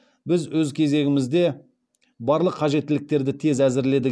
біз өз кезегімізде барлық қажеттіліктерді тез әзірледік